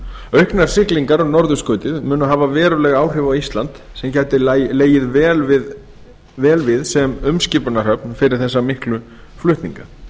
auknar siglingar um norðurskautið munu hafa veruleg áhrif á ísland sem gæti legið vel við sem umskipunarhöfn fyrir þessa miklu flutninga